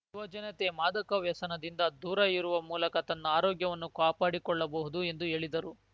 ಯುವಜನತೆ ಮಾದಕ ವ್ಯಸನದಿಂದ ದೂರ ಇರುವ ಮೂಲಕ ತನ್ನ ಆರೋಗ್ಯವನ್ನು ಕಾಪಾಡಿಕೊಳ್ಳಬಹುದು ಎಂದು ಹೇಳಿದರು